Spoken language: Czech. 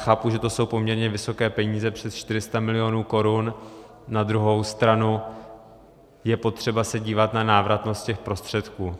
Chápu, že to jsou poměrně vysoké peníze, přes 400 milionů korun, na druhou stranu je potřeba se dívat na návratnost těch prostředků.